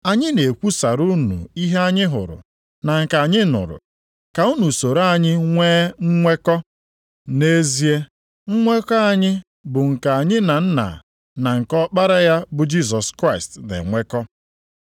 Anyị na-ekwusara unu ihe anyị hụrụ na nke anyị nụrụ, ka unu soro anyị nwee nnwekọ. Nʼezie nnwekọ anyị bụ nke anyị na Nna na nke Ọkpara ya bụ Jisọs Kraịst, na-enwekọ.